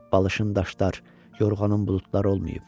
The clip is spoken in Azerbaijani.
Balışın daşlar, yorğanın buludlar olmayıb."